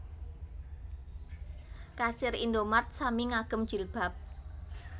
Kasir Indomart sami ngagem jilbab